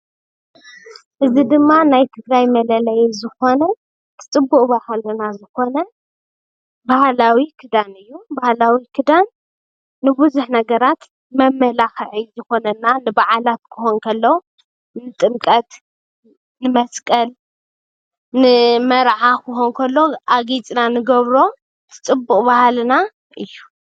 እዚ ድማ ናይ ትግራይ መለለዪ ዝኾነ ፅቡቅ ባህልና ዝኾነ ባህላዊ ክዳን እዩ። ባህላዊ ክዳን ንቡዙሕ ነገራት መመላኽዒ ይኾነና ንበዓላት ክኾን ከሎ ንጥምቀት ፣ንመስቀል ፣ንመርዓ ክኾን ከሎ ኣጊፅና ንገብሮ ፅቡቅ ባህልና እዩ።